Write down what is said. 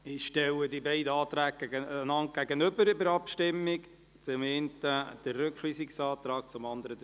Ich stelle in der Abstimmung die beiden Anträge, also den Rückweisungsantrag und den Streichungsantrag einander gegenüber.